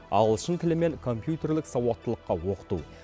ағылшын тілі мен компьютерлік сауаттылыққа оқыту